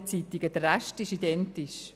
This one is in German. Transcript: Der Rest ist identisch.